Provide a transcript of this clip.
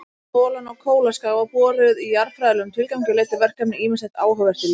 Holan á Kólaskaga var boruð í jarðfræðilegum tilgangi og leiddi verkefnið ýmislegt áhugavert í ljós.